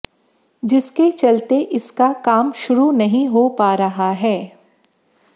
जिसके चलते इसका काम शुरू नहीं हो पा रहा है